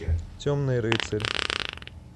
темный рыцарь